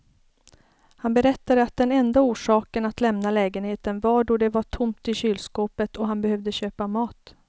Han berättade att den enda orsaken att lämna lägenheten var då det var tomt i kylskåpet och han behövde köpa mat.